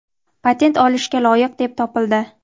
patent olishga loyiq deb topildi!.